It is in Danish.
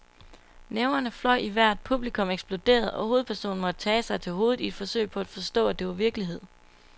Næverne fløj i vejret, publikum eksploderede, og hovedpersonen måtte tage sig til hovedet i et forsøg på at forstå, at det var virkelighed.